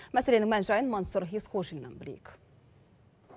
мәселенің мән жайын мәнсүр есқожиннан білейік